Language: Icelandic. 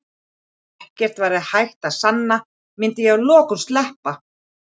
Ef ekkert væri hægt að sanna myndi ég að lokum sleppa.